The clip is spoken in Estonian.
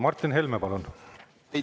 Martin Helme, palun!